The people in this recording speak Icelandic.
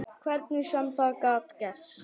Hvernig sem það gat gerst.